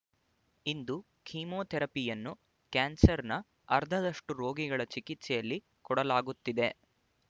ಇಂದು ಕೀಮೋಥೆರಪಿಯನ್ನು ಕ್ಯಾನ್ಸರ್‍ನ ಅರ್ಧದಷ್ಟು ರೋಗಿಗಳ ಚಿಕಿತ್ಸೆಯಲ್ಲಿ ಕೊಡಲಾಗುತ್ತಿದೆ